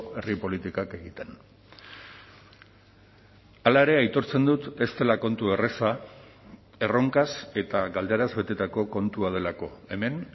herri politikak egiten hala ere aitortzen dut ez dela kontu erraza erronkaz eta galderaz betetako kontua delako hemen